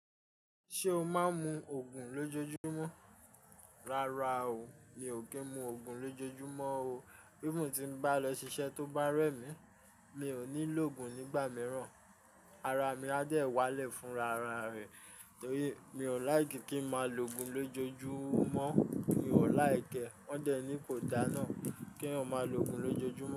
Ṣé o máa ń mu Ògùn lójojúmọ́? Rárá o, mi ò kí ń mu Ògùn lójojúmọ́ o. Bí mo ti bá lọ ṣiṣẹ́ tó bá rẹ̀ mí, mi ò ní lògùn nígbà mìíràn, ara mi á dẹ̀ wá lè fúnra ara rẹ̀. Torí mi ò like kí ń máa lo Ògùn lójojúmọ́. Mi ò like ẹ, wọ́n dẹ ní kò dáa náà kí eeyan máa lo Ògùn lójojúmọ́